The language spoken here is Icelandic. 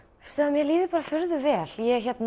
mér líður furðu vel